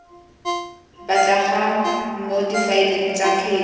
batlegang mo difaeleng tsa kgetse